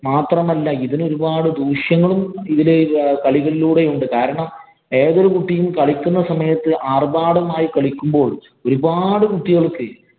മാത്രമല്ല, ഇതിനു ഒരുപാട് ദൂഷ്യങ്ങളും ഇതില് കളികളിലൂടെ ഉണ്ട്. കാരണം ഏതൊരു കുട്ടിയും കളിക്കുന്ന സമയത്ത് ആര്‍ഭാടമായി കളിക്കുമ്പോ ഒരു പാട് കുട്ടികള്‍ക്ക്